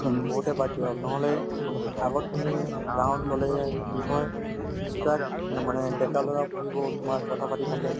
বহুতে বাদ দিয়া হল নহলে আগত তুমি গাঁৱত গলে কি হয় মানে ডেকা লৰা তোমাৰ কথা পাতি থাকে